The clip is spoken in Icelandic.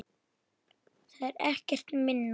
Það er ekkert minna!